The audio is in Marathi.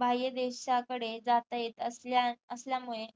भाय देशाकडे जाता येत असल्या असल्यामुळे